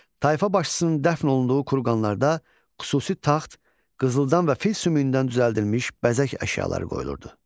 Tayfa başçısının dəfn olunduğu kurqanlarda xüsusi taxt, qızıldan və fil sümüyündən düzəldilmiş bəzək əşyaları qoyulurdu.